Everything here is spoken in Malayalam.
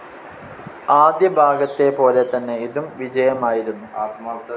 ആദ്യ ഭാഗത്തെ പോലെ തന്നെ ഇതും വിജയമായിരുന്നു.